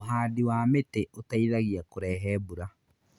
Ũhandi wa mĩtĩ ũteithagia kũrehe mbura.